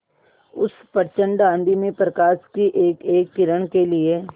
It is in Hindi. उस प्रचंड आँधी में प्रकाश की एकएक किरण के लिए